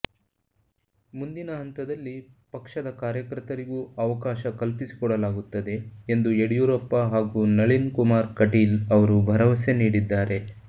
ಮುಂದಿನ ಹಂತದಲ್ಲಿ ಪಕ್ಷದ ಕಾರ್ಯಕರ್ತರಿಗೂ ಅವಕಾಶ ಕಲ್ಪಿಸಿಕೊಡಲಾಗುತ್ತದೆ ಎಂದು ಯಡಿಯೂರಪ್ಪ ಹಾಗೂ ನಳಿನ್ ಕುಮಾರ್ ಕಟೀಲ್ ಅವರು ಭರವಸೆ ನೀಡಿದ್ದಾರೆ